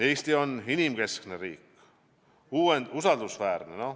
Eesti on inimkeskne riik, usaldusväärne.